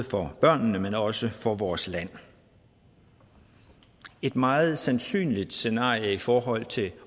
for børnene men også for vores land et meget sandsynligt scenarie i forhold til